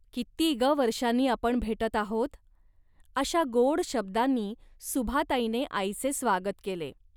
किती ग वर्षांनी आपण भेटत आहोत. अशा गोड शब्दांनी सुभाताईने आईचे स्वागत केले